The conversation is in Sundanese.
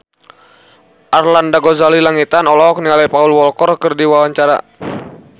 Arlanda Ghazali Langitan olohok ningali Paul Walker keur diwawancara